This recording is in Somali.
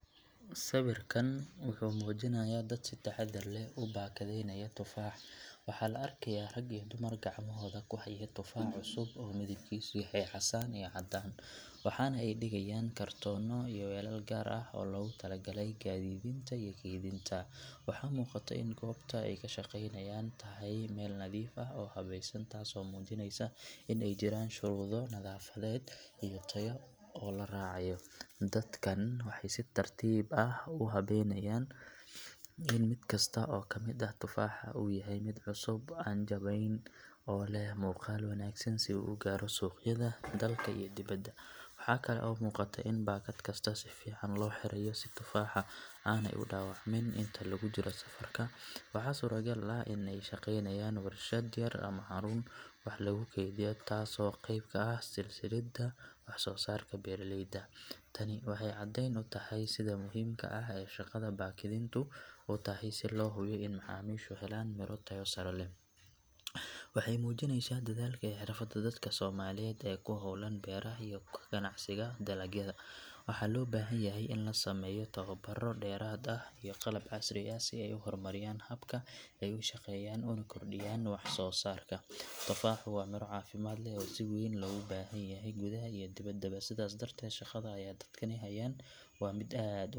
Sawirkan wuxuu muujinayaa dad si taxadar leh u baakadinaya tufaax. Waxaa la arkayaa rag iyo dumar gacmahooda ku haya tufaax cusub oo midabkiisu yahay casaan iyo caddaan, waxaana ay dhigayaan kartoonno iyo weelal gaar ah oo loogu talagalay gaadiidinta iyo kaydinta. Waxaa muuqata in goobta ay ka shaqaynayaan tahay meel nadiif ah oo habaysan, taasoo muujinaysa in ay jiraan shuruudo nadaafadeed iyo tayo oo la raacayo. Dadkan waxay si tartiib ah u hubinayaan in mid kasta oo ka mid ah tufaaxa uu yahay mid cusub, aan jabnayn, oo leh muuqaal wanaagsan, si uu u gaaro suuqyada dalka iyo dibadda. Waxa kale oo muuqata in baakad kasta si fiican loo xirayo si tufaaxa aanay u dhaawacmin inta lagu jiro safarka. Waxaa suuragal ah in ay ka shaqaynayaan warshad yar ama xarun wax lagu kaydiyo taasoo qayb ka ah silsiladda wax soo saarka beeraleyda. Tani waxay cadayn u tahay sida muhiimka ah ee shaqada baakadintu u tahay si loo hubiyo in macaamiishu helaan midho tayo sare leh. Waxay muujinaysaa dadaalka iyo xirfadda dadka Soomaaliyeed ee ku hawlan beeraha iyo ka ganacsiga dalagyada. Waxaa loo baahan yahay in loo sameeyo tababarro dheeraad ah iyo qalab casri ah si ay u horumariyaan habka ay u shaqeeyaan una kordhiyaan wax soo saarka. Tufaaxu waa miro caafimaad leh oo si weyn loogu baahan yahay gudaha iyo dibaddaba, sidaas darteed shaqada ay dadkani hayaan waa mid aad u muhiim .